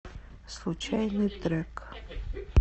случайный трек